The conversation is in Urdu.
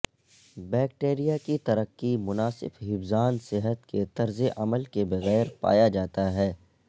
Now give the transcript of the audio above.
بیکٹیریا کی ترقی مناسب حفظان صحت کے طرز عمل کے بغیر پایا جاتا ہے